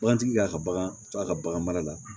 Bagantigi k'a ka bagan faga ka bagan mara la